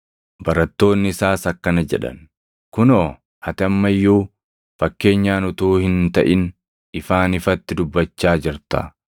Barattoonni isaas akkana jedhan; “Kunoo, ati amma iyyuu fakkeenyaan utuu hin taʼin ifaan ifatti dubbachaa jirta.